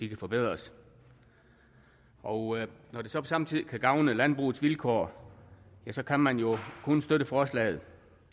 kan forbedres og når det så samtidig kan gavne landbrugets vilkår ja så kan man jo kun støtte forslaget